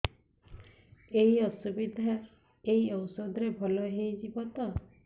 ଏଇ ଅସୁବିଧା ଏଇ ଔଷଧ ରେ ଭଲ ହେଇଯିବ ତ